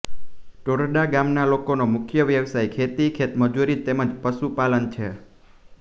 ટોરડા ગામના લોકોનો મુખ્ય વ્યવસાય ખેતી ખેતમજૂરી તેમ જ પશુપાલન છે